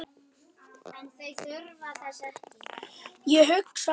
Ég hugsa að